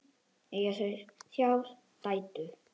Eiga þau þrjár dætur.